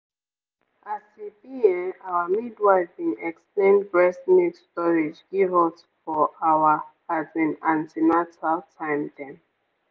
as e be[um]our midwife bin explain breast milk storage give us for our as in an ten atal time dem.